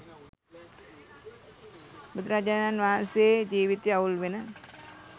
බුදුරජාණන් වහන්සේ ජීවිතය අවුල් වෙන